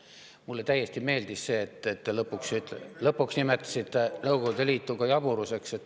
Mulle täiesti meeldis see, et te lõpuks nimetasite Nõukogude Liitu ka jaburuseks.